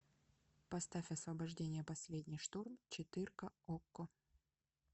поставь освобождение последний штурм четырка окко